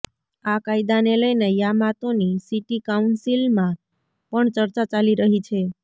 આ કાયદાને લઈને યામાતોની સિટી કાઉન્સિલમાં પણ ચર્ચા ચાલી રહી છે